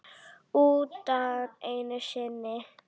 Utan einu sinni.